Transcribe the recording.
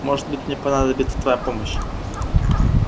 может быть мне понадобится твоя помощь